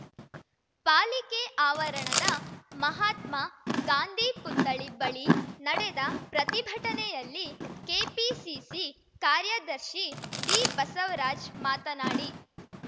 ಪಾಲಿಕೆ ಆವರಣದ ಮಹಾತ್ಮ ಗಾಂಧಿ ಪುತ್ಥಳಿ ಬಳಿ ನಡೆದ ಪ್ರತಿಭಟನೆಯಲ್ಲಿ ಕೆಪಿಸಿಸಿ ಕಾರ್ಯದರ್ಶಿ ಡಿಬಸವರಾಜ್ ಮಾತನಾಡಿ